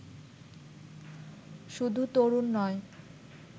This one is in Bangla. শুধু তরুণ নয়